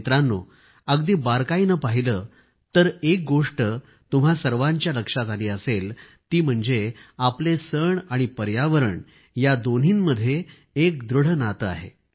मित्रांनो अगदी बारकाईने पाहिलं तर एक गोष्ट तुम्हा सर्वांच्या लक्षात आली असेल ती म्हणजे आपले सण आणि पर्यावरण या दोन्हींमध्ये एक दृढ नाते आहे